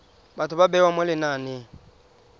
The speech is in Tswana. batho ba bewa mo lenaneng